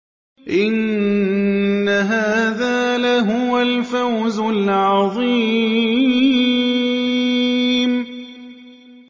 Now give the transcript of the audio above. إِنَّ هَٰذَا لَهُوَ الْفَوْزُ الْعَظِيمُ